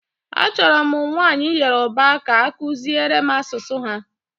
Achọrọ m nwanyị Yoruba ka akuziere m asụsụ ha